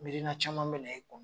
Miirina caman be na e kɔnɔ